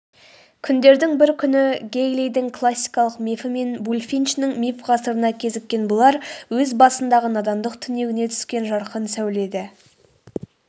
күндердің бір күні гэйлидің классикалық мифі мен булфинчінің миф ғасырына кезіккен бұлар өз басындағы надандық түнегіне түскен жарқын сәуле-ді